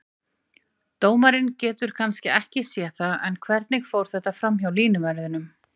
Dómarinn getur kannski ekki séð það, en hvernig fór þetta framhjá línuverðinum?